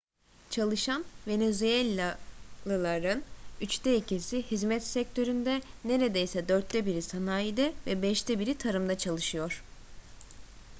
çalışan venezuellalıların üçte ikisi hizmet sektöründe neredeyse dörtte biri sanayide ve beşte biri tarımda çalışıyor